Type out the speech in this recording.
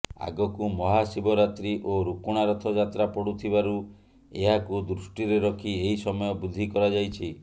ଆଗକୁ ମହାଶିବରାତ୍ରୀ ଓ ରୁକୁଣା ରଥ ଯାତ୍ରା ପଡ଼ୁଥିବାରୁ ଏହାକୁ ଦୃଷ୍ଟିରେ ରଖି ଏହି ସମୟ ବୃଦ୍ଧି କରାଯାଇଛି